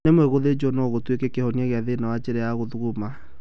Rimwe gũthĩnjwo no gũtuĩke kĩhonia kia thĩna wa njĩra ya gũthuguma